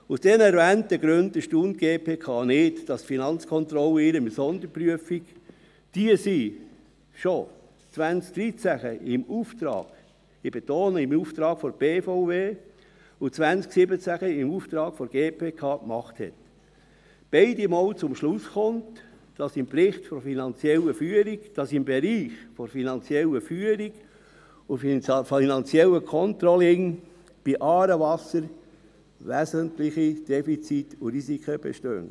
Aus den erwähnten Gründen erstaunt es die GPK nicht, dass die Finanzkontrolle in ihren Sonderprüfungen, die sie schon 2013 im Auftrag – ich betone – im Auftrag und 2017 im Auftrag der GPK gemacht hat, beide Male zum Schluss kommt, dass im Bereich der finanziellen Führung und des finanziellen Controllings von «Aarewasser» wesentliche Defizite und Risiken bestehen.